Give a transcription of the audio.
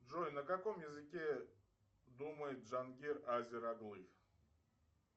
джой на каком языке думает джангир азер оглы